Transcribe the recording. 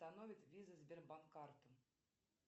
виза сбербанк карты